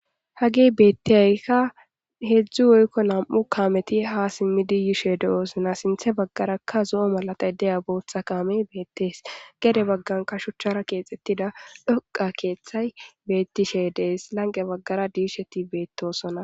Hage betiyyika hedzdzu woyiko na'mu kameti ha simidi yishe de'osona sinta bagaraka zo'o malatayi de'ya botha kame betees gede bagaraka shuchara kexetida dhoqa kethayi betishe dee's lanqe bagara disheti betosona